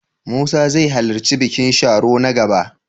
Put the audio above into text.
Musa zai halarci bikin Sharo na gaba?